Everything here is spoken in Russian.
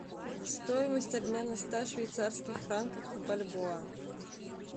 стоимость обмена ста швейцарских франков в бальбоа